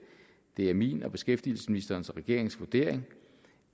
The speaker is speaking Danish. er min og beskæftigelsesministerens og regeringens vurdering